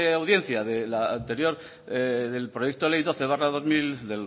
audiencia del proyecto de ley doce barra dos mil